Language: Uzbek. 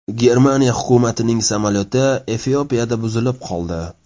Germaniya hukumatining samolyoti Efiopiyada buzilib qoldi.